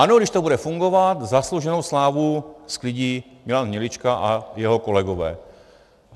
Ano, když to bude fungovat, zaslouženou slávu sklidí Milan Hnilička a jeho kolegové.